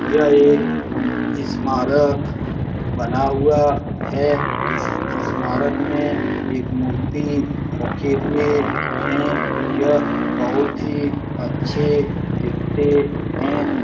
यह एक ईस्मारक बना हुआ है। इस ईस्मारक में एक मूर्ति रखे हुए हैं। यह बहुत ही अच्छे दिखते हैं।